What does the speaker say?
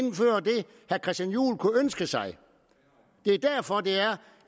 jeg christian juhl kunne ønske sig det er derfor det er